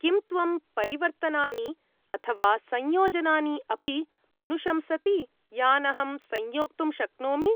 किं त्वं परिवर्तनानि अथवा संयोजनानि अपि अनुशंसति यान् अहं संयोक्तुं शक्नोमि?